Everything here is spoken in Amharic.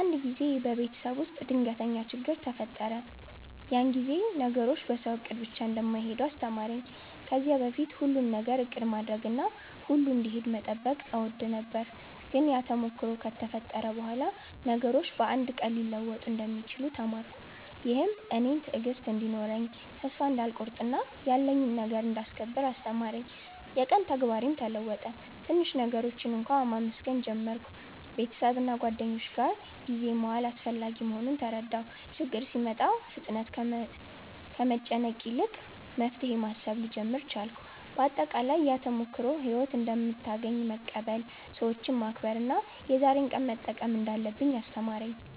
አንድ ጊዜ በቤተሰብ ውስጥ ድንገተኛ ችግኝ ተፈጠረ፤ ያ ጊዜ ነገሮች በሰው እቅድ ብቻ እንደማይሄዱ አስተማረኝ። ከዚያ በፊት ሁሉን ነገር እቅድ ማድረግና ሁሉ እንዲሄድ መጠበቅ እወድ ነበር፤ ግን ያ ተሞክሮ ከተፈጠረ በኋላ ነገሮች በአንድ ቀን ሊለወጡ እንደሚችሉ ተማርኩ። ይህም እኔን ትዕግሥት እንዲኖረኝ፣ ተስፋ እንዳልቆርጥ እና ያለኝን ነገር እንዳስከብር አስተማረኝ። የቀን ተግባሬም ተለወጠ፤ ትንሽ ነገሮችን እንኳ መመስገን ጀመርሁ። ቤተሰብና ጓደኞች ጋር ጊዜ መዋል አስፈላጊ መሆኑን ተረዳሁ። ችግኝ ሲመጣ ፍጥነት ከመጨነቅ ይልቅ መፍትሄ ማሰብ ልጀምር ቻልኩ። አጠቃላይ፣ ያ ተሞክሮ ሕይወት እንደምታገኘን መቀበል፣ ሰዎችን መከብር እና የዛሬን ቀን መጠቀም እንዳለብኝ አስተማረኝ።